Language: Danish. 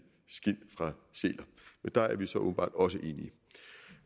skind fra sæler men der er vi så åbenbart også enige